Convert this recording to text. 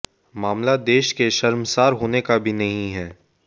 मामला देश के शर्मशार होने का भी नहीं है